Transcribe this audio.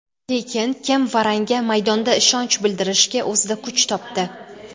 Lekin, kim Varanga maydonda ishonch bildirishga o‘zida kuch topdi.